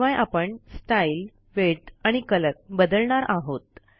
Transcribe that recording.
शिवाय आपण style width आणि कलर बदलणार आहोत